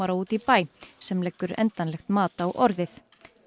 út í bæ sem leggur endanlegt mat á orðið